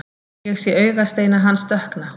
Ég sé augasteina hans dökkna.